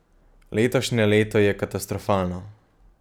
Letošnje leto je katastrofalno.